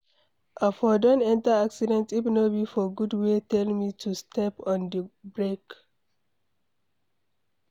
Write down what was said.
I for don enter accident if no be for God wey tell me to step on the brake.